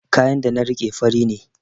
Kayan da na riƙe fari ne